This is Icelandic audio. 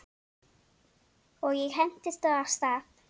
Og ég hentist af stað.